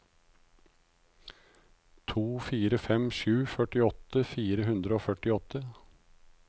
to fire fem sju førtiåtte fire hundre og førtiåtte